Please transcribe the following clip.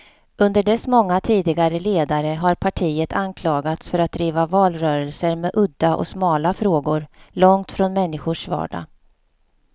Under dess många tidigare ledare har partiet anklagats för att driva valrörelser med udda och smala frågor, långt från människors vardag.